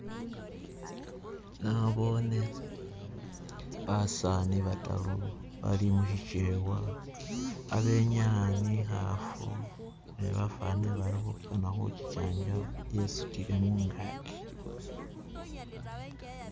Naboone basaani bataru bali mushikewa, khabenyaa ni i'khaafu nebafwanile bali khukana khuki chanjaba yesutile mungaki.